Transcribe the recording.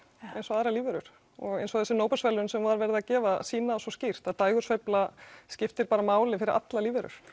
eins og aðrar lífverur og eins og þessi Nóbelsverðlaun sem var verið að gefa sýna það svo skýrt að dægursveifla skiptir bara máli fyrir allar lífverur